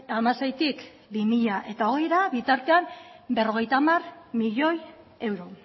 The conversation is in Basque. hamaseitik bi mila hogeira bitartean berrogeita hamar milioi euro